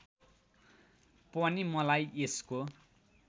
पनि मलाई यसको